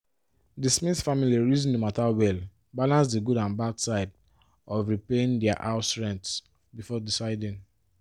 di smith family reason the matter well balance the good and bad side of repayin their house rent before deciding